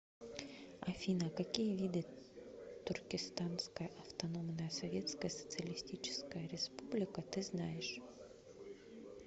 афина какие виды туркестанская автономная советская социалистическая республика ты знаешь